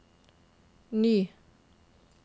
ny